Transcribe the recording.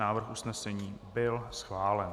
Návrh usnesení byl schválen.